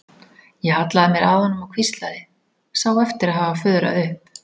Ég hallaði mér að honum og hvíslaði, sá eftir að hafa fuðrað upp.